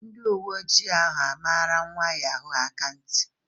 Ndi uwe ojii ahụ a mara nwa yahoo ahụ akanti?